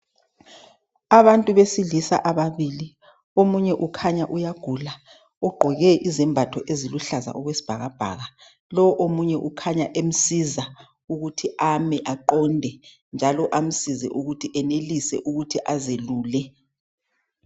Abantu besilisa ababili, omunye ukhanya uyagula. Ugqoke izembatho eziluhlaza okwesibhakabhaka, lo omunye ukhanya emsiza ukuthi ame aqonde njalo amsize ukuthi enelise ukuthi azelule.